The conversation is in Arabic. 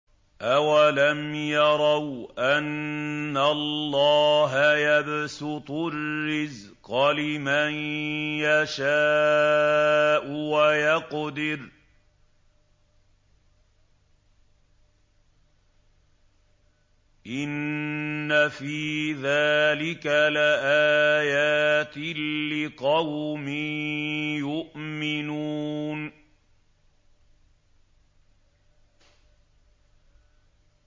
أَوَلَمْ يَرَوْا أَنَّ اللَّهَ يَبْسُطُ الرِّزْقَ لِمَن يَشَاءُ وَيَقْدِرُ ۚ إِنَّ فِي ذَٰلِكَ لَآيَاتٍ لِّقَوْمٍ يُؤْمِنُونَ